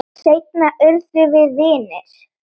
Seinna urðum við vinir.